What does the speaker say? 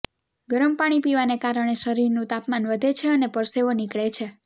ગરમ પાણી પીવાને કારણે શરીરનું તાપમાન વધે છે અને પરસેવો નીકળે છે